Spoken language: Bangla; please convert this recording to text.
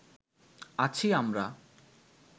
আছি আমরা